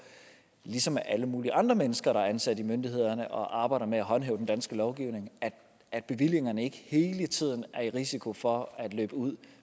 ligesom alle mulige andre mennesker der er ansat i myndighederne og arbejder med at håndhæve den danske lovgivning at bevillingerne ikke hele tiden er i risiko for at løbe ud